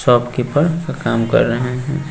Shopkeeper का काम कर रहे है।